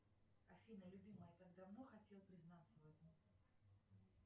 афина любимая я так давно хотел признаться в этом